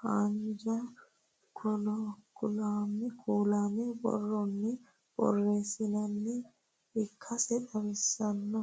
haanja kuulaame borronni borreessinoonni ikkase xawissanno